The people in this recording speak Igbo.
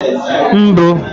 mbu